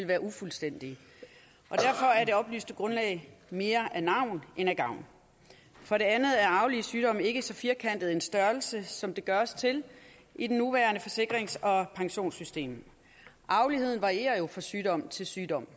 være ufuldstændige og derfor er det oplyste grundlag mere af navn end af gavn for det andet er arvelige sygdomme ikke så firkantet en størrelse som det gøres til i det nuværende forsikrings og pensionssystem arveligheden varierer jo fra sygdom til sygdom